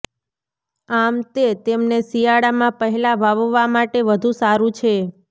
આમ તે તેમને શિયાળામાં પહેલાં વાવવા માટે વધુ સારું છે